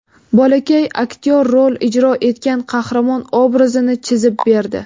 Bolakay aktyor rol ijro etgan qahramon obrazini chizib berdi.